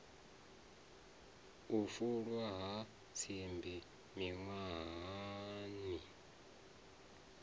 u fulwa ha tsimbi miṅwahani